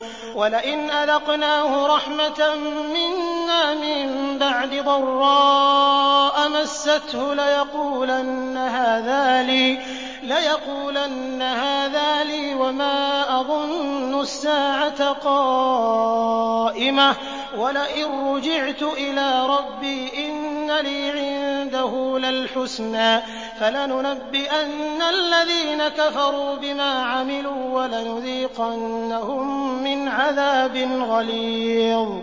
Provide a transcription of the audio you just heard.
وَلَئِنْ أَذَقْنَاهُ رَحْمَةً مِّنَّا مِن بَعْدِ ضَرَّاءَ مَسَّتْهُ لَيَقُولَنَّ هَٰذَا لِي وَمَا أَظُنُّ السَّاعَةَ قَائِمَةً وَلَئِن رُّجِعْتُ إِلَىٰ رَبِّي إِنَّ لِي عِندَهُ لَلْحُسْنَىٰ ۚ فَلَنُنَبِّئَنَّ الَّذِينَ كَفَرُوا بِمَا عَمِلُوا وَلَنُذِيقَنَّهُم مِّنْ عَذَابٍ غَلِيظٍ